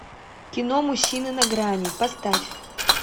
кино мужчины на грани поставь